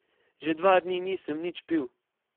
Že dva dni nisem nič pil.